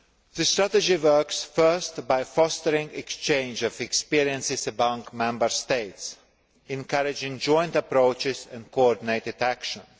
The strategy works first by fostering an exchange of experiences amongst Member States, encouraging joint approaches and coordinated actions.